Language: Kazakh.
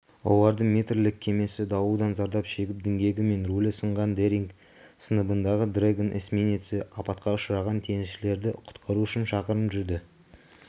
олардың метрлік кемесі дауылдан зардап шегіп діңгегі мен рулі сынған дэринг сыныбындағы дрэгон эсминеці апатқа ұшыраған теңізшілерді құтқару үшін шақырым жүрді